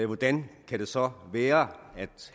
hvordan kan det så være at